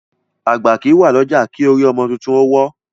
Àgbà kí wà lọ́jà, kí orí ọmọ títún ó wọ́